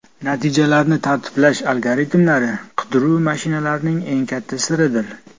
Natijalarni tartiblash algoritmlari qidiruv mashinalarining eng katta siridir.